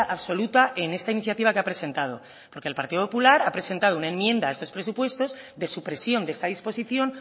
absoluta en esta iniciativa que ha presentado porque el partido popular ha presentado una enmienda a estos presupuestos de supresión de esta disposición